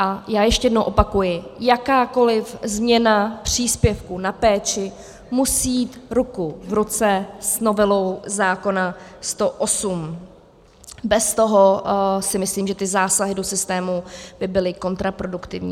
A já ještě jednou opakuji, jakákoli změna příspěvku na péči musí jít ruku v ruce s novelou zákona 108, bez toho, si myslím, že ty zásahy do systému by byly kontraproduktivní.